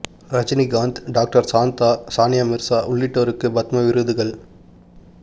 Rajinikanth doctor Shanta Sania Mirza உள்ளிட்டோருக்கு பத்ம விருதுகள்